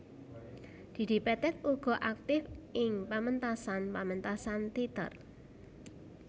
Didi Petet uga aktif ing pamentasan pamentasan téater